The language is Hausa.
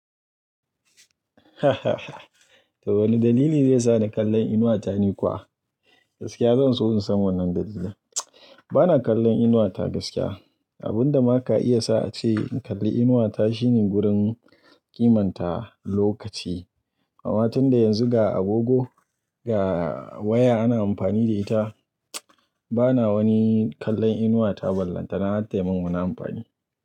To wane dalili zai sa ni kallon inuwa ta ni kuwa? Gaskiya zan so in san wannan dalilin. Bana kallon inuwa ta gaskiya. Abun da ma ka iya sa a ce in kalli inuwa ta shine gurin kimanta lokaci. Amma tunda yanzu ga agogo, ga waya ana amfani da ita, bana wani kallon inuwa ta ballanta. Na hattai min wani amfani.